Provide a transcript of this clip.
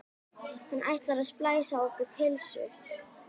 Hann ætlar að splæsa á okkur pulsu!